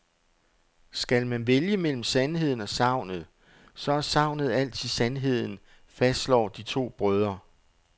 Skal man vælge mellem sandheden og sagnet, så er sagnet altid sandheden, fastslår de to brødre.